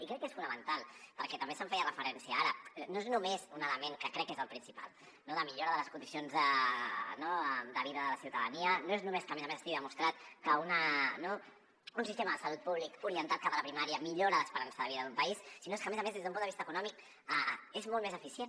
i crec que és fonamental perquè també se’n feia referència ara no és només un element que crec que és el principal no de millora de les condicions de vida de la ciutadania no és només que a més a més estigui demostrat que un sistema de salut públic orientat cap a la primària millora l’esperança de vida d’un país sinó que a més a més des d’un punt de vista econòmic és molt més eficient